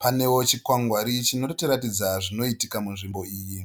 Panewo chikwangwari chinotiratidza zvinoitika munzvimbo iyi.